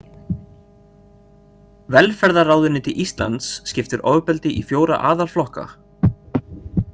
Velferðarráðuneyti Íslands skiptir ofbeldi í fjóra aðalflokka.